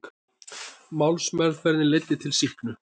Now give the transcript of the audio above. Málsmeðferðin leiddi til sýknu